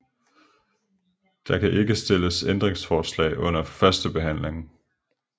Der kan ikke stilles ændringsforslag under førstebehandlingen